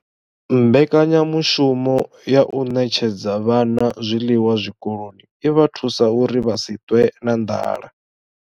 Mbekanya mushumo ya u ṋetshedza vhana zwiḽiwa zwikoloni i vha thusa uri vha si ṱwe na nḓala.